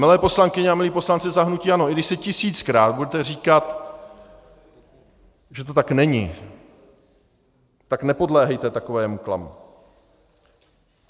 Milé poslankyně a milí poslanci za hnutí ANO, i když si tisíckrát budete říkat, že to tak není, tak nepodléhejte takovému klamu.